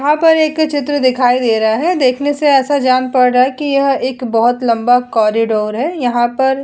यहाँ पर एक चित्र दिखाई दे रहा है देखने से ऐसा जान पड़ रहा है कि यह एक बहोत लम्बा कॉरिडोर है यहाँ पर --